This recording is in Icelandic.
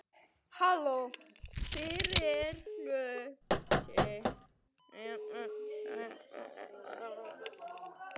Fyrri hluti síðasta tímabils var algjör veisla.